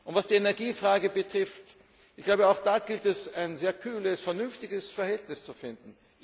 Was die Energiefrage betrifft Auch da gilt es, ein sehr kühles, vernünftiges Verhältnis zu finden.